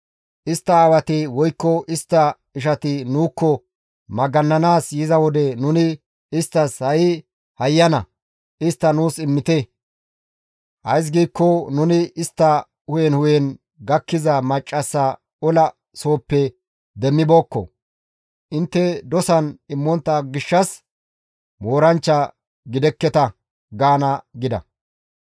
Istta aawati woykko istta ishati nuukko magannanaas yiza wode nuni isttas, ‹Ha7i hayyana! Istta nuus immite; ays giikko nuni istta hu7en hu7en gakkiza maccassa ola sohoppe demmibeekko; intte dosan immontta gishshas mooranchcha gidekketa› gaana» gida.